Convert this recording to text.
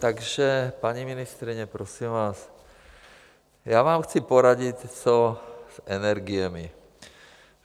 Takže, paní ministryně, prosím vás, já vám chci poradit, co s energiemi.